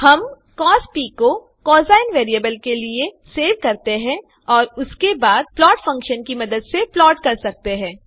हम कॉस को cosine variable के लिए सेव कर सकते हैं और उसके बाद प्लॉट फंक्शन की मदद से प्लाट कर सकते हैं